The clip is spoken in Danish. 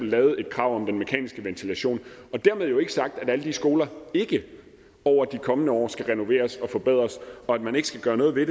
lavede et krav om mekanisk ventilation dermed jo ikke sagt at alle de skoler ikke over de kommende år skal renoveres og forbedres og at man ikke skal gøre noget ved